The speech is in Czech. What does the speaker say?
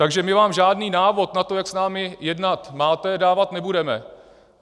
Takže my vám žádný návod na to, jak s námi jednat máte, dávat nebudeme.